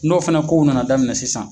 N'o fana kow na na daminɛ sisan